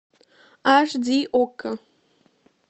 аш ди окко